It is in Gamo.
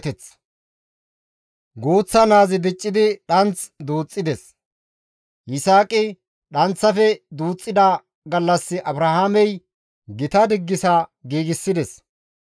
Guuththa naazi diccidi dhanth duuxxides; Yisaaqi dhanththafe duuxxida gallas Abrahaamey gita diggisa diggisides.